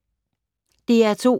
DR2